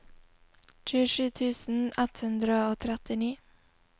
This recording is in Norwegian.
tjuesju tusen ett hundre og trettini